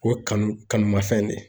O kanu , kanu ma fɛn de ye.